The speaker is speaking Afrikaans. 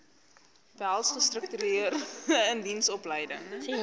behels gestruktureerde indiensopleiding